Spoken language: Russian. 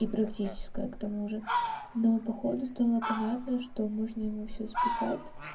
и практическое к тому же но походу стало понятно что можно ему все списать